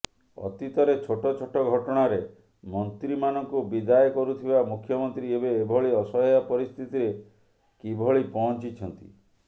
ଅତୀତରେ ଛୋଟ ଛୋଟ ଘଟଣାରେ ମନ୍ତ୍ରୀମାନଙ୍କୁ ବିଦାୟ କରୁଥିବା ମୁଖ୍ୟମନ୍ତ୍ରୀ ଏବେ ଏଭଳି ଅସହାୟ ପରିସ୍ଥିତିରେ କିଭଳି ପହଞ୍ଚିଛନ୍ତି